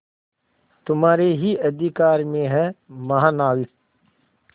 तुम्हारे ही अधिकार में है महानाविक